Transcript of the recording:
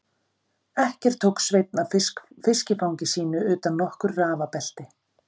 Ekkert tók Sveinn af fiskifangi sínu utan nokkur rafabelti.